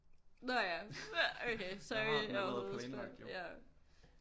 Nå ja okay sorry jeg allerede spørger ja